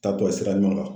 Taa bɔ sira ɲuman kan